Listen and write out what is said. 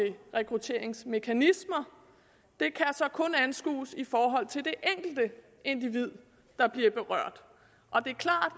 rekrutteringsmekanismer så kun kan anskues i forhold til det enkelte individ der bliver berørt og det er klart